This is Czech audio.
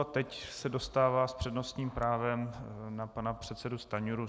A teď se dostává s přednostním právem na pana předsedu Stanjuru.